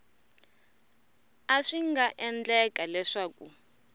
a swi nga endleka leswaku